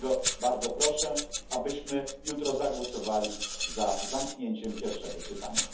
Dlatego bardzo proszę, abyśmy jutro zagłosowali za zamknięciem pierwszego czytania.